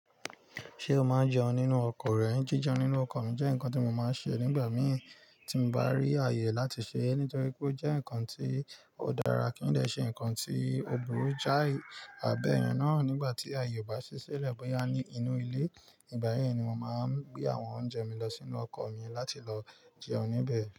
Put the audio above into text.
Ṣé o máa ń jẹun nínú ọkọ̀ rẹ? Jí jẹun nínú ọkọ̀ mi jẹ́ nǹkan tí mo máa ń ṣe nígbà mìí tí mo bá rí àyè láti ṣe é. Nítorí pé ó jẹ́ ǹkan tí ó dára kí n dè ṣe ǹkan tí ò burú jáì, àbẹ̀yẹn náà nígbà tí àyè ò bá ṣiṣẹ́, lẹ̀ bóyá ní inú ilé, nígbà yẹn ni mo máa ń gbé àwọn oúnjẹ mi lọ sínú ọkọ̀ mi láti lọ jẹun níbẹ̀.